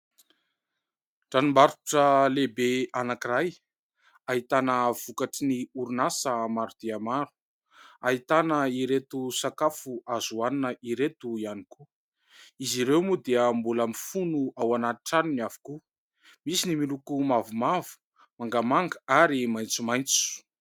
Tranombarotra lehibe anankiray. Ahitana vokatry ny orinasa maro dia maro, ahitana ireto sakafo azo hohanina ireto ihany koa. Izy ireo moa dia mbola mifono ao anaty tranony avokoa. Misy ny miloko mavomavo, mangamanga ary maitsomaitso.